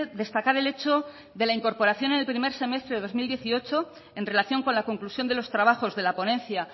destacar el hecho de la incorporación en el primer semestre dos mil dieciocho en relación con la conclusión de los trabajos de la ponencia